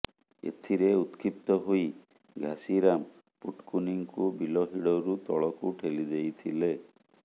ଏଥିରେ ଉତ୍କ୍ଷିପ୍ତ ହୋଇ ଘାସିରାମ ପୁଟକୁନିଙ୍କୁ ବିଲ ହିଡ଼ରୁ ତଳକୁ ଠେଲି ଦେଇଥିଲେ